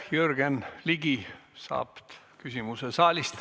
Jürgen Ligi saab küsimuse saalist.